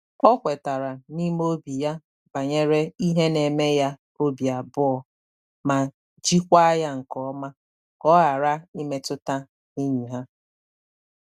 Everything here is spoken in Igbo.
O kwetara n’ime obi ya banyere ihe na eme ya obi abụọ, ma jikwaa ya nke ọma ka ọ ghara imetụta enyi ha.